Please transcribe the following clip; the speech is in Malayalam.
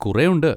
കുറേ ഉണ്ട്.